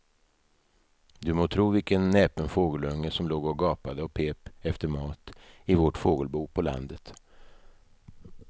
Du må tro vilken näpen fågelunge som låg och gapade och pep efter mat i vårt fågelbo på landet.